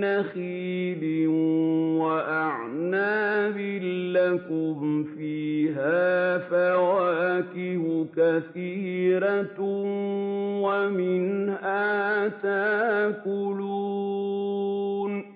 نَّخِيلٍ وَأَعْنَابٍ لَّكُمْ فِيهَا فَوَاكِهُ كَثِيرَةٌ وَمِنْهَا تَأْكُلُونَ